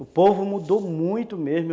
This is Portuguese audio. O povo mudou muito mesmo.